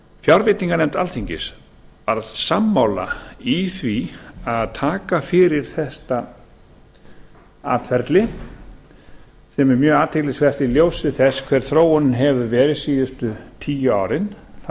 fjárveitinganefnd alþingis varð sammála í því að taka fyrir þetta atferli sem er mjög athyglisvert í ljósi þess hver þróunin hefur verið síðustu tíu árin þar